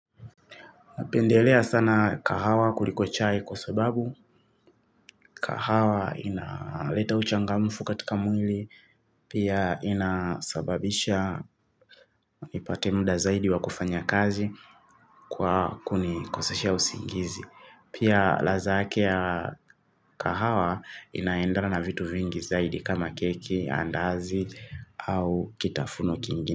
Napendelea sana kahawa kuliko chai kwa sababu. Kahawa inaleta uchangamfu katika mwili. Pia inasababisha nipate muda zaidi wa kufanya kazi kwa kunikosesha usingizi. Pia ladha yake ya kahawa inaendana na vitu vingi zaidi kama keki, andazi au kitafuno kingine.